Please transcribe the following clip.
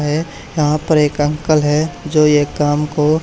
है यहां पर एक अंकल है जो ये काम को--